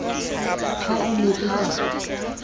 ha e ne e ka